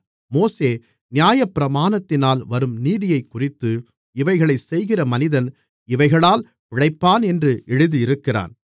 மோசே நியாயப்பிரமாணத்தினால் வரும் நீதியைக்குறித்து இவைகளை செய்கிற மனிதன் இவைகளால் பிழைப்பான் என்று எழுதியிருக்கிறான்